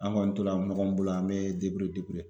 An kɔni to la ɲɔgɔn bolo an bɛ